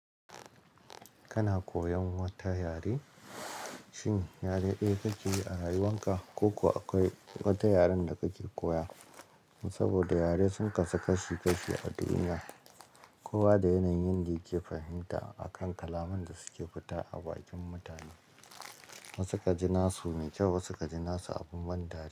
Kana koyan wata yare? Shin yare ɗaya kake yi a rayuwan ka ko kuwa akwai wata yaren da kake koya? Saboda yare sun kasu kashi kashi a duniya. Kowa da yanayin da yake fahimta akan kalaman da suke fita a bakin mutane. Wasu ka ji nasu mai kyau wasu ka ji nasu abun ban dariya.